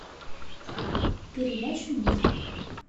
передача мульт